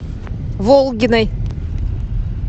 волгиной